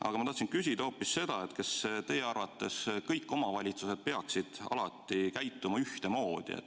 Aga ma tahan küsida hoopis seda, kas teie arvates kõik omavalitsused peaksid alati käituma ühtemoodi.